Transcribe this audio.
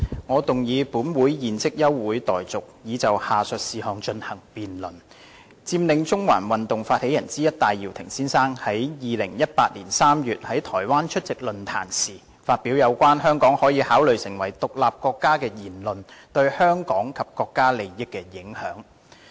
我動議本會現即休會待續，以就下述事項進行辯論：佔領中環發起人之一戴耀廷先生於2018年3月在台灣出席論壇時，發表有關香港可以考慮成為獨立國家的言論對香港及國家利益的影響。